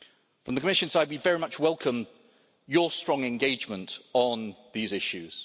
From the Commission side, we very much welcome your strong engagement on these issues.